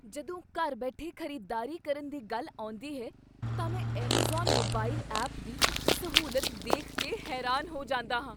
ਜਦੋਂ ਘਰ ਬੈਠੇ ਖ਼ਰੀਦਦਾਰੀ ਕਰਨ ਦੀ ਗੱਲ ਆਉਂਦੀ ਹੈ ਤਾਂ ਮੈਂ ਐੱਮਾਜ਼ਾਨ ਮੋਬਾਈਲ ਐਪ ਦੀ ਸਹੂਲਤ ਦੇਖ ਕੇ ਹੈਰਾਨ ਹੋ ਜਾਂਦਾ ਹਾਂ।